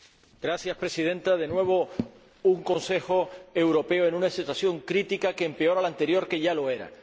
Señora Presidenta, de nuevo un Consejo Europeo en una situación crítica aún peor que la anterior, que ya lo era.